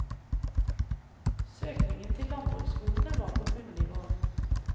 Søkningen til landbruksskolene var på bunnivå.